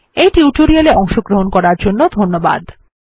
এই টিউটোরিয়াল এ অংশগ্রহন করার জন্য ধন্যবাদ